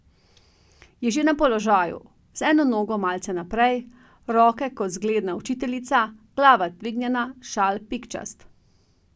Je že na položaju, z eno nogo malce naprej, roke kot zgledna učiteljica, glava dvignjena, šal pikčast.